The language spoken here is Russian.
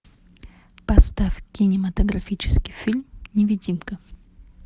поставь кинематографический фильм невидимка